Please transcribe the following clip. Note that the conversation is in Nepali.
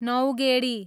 नौगेडी